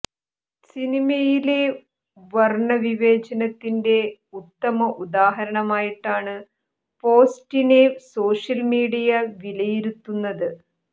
സിനിമയിലെ വര്ണവിവേചനത്തിന്റെ ഉത്തമ ഉദാഹരണമായിട്ടാണ് പോസ്റ്റിനെ സോഷ്യല് മീഡിയ വിലയിരുത്തുന്നത്